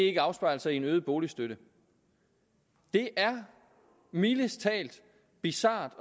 ikke afspejler sig i en øget boligstøtte det er mildest talt bizart